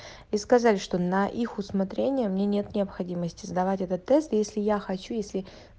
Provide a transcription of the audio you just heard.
и сказали что на их усмотрение мне нет необходимости сдавать этот тест если я хочу если